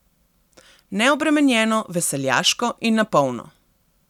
Neobremenjeno, veseljaško in na polno.